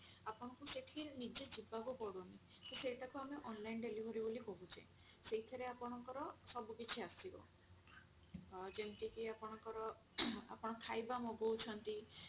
ଆପଣଙ୍କୁ ସେଠି ନିଜେ ଯିବାକୁ ପଡୁନି ତ ସେଇଟା କୁ ଆମେ online delivery ବୋଲି କହୁଛେ ସେଇଥିରେ ଆପଣଙ୍କ ର ସବୁ କିଛି ଆସିବ ଅ ଯେମତି କି ଆପଣଙ୍କ ର ଆପଣ ଖାଇବା ମଗଉଛନ୍ତି